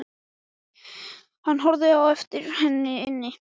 Hann horfði á eftir henni inn.